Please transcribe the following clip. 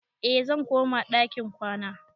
Eh, zan koma ɗakin kwana